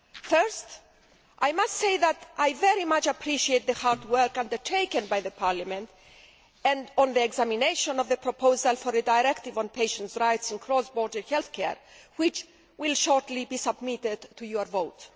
First, I must say that I very much appreciate the hard work undertaken by Parliament on the examination of the proposal for a directive on patients' rights in cross border health care which will shortly be submitted to your vote.